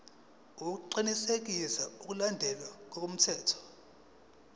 ukuqinisekisa ukulandelwa kwemithetho